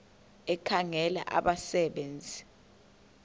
ekhangela abasebe nzi